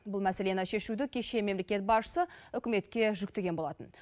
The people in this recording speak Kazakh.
бұл мәселені шешуді кеше мемлекет басшысы үкіметке жүктеген болатын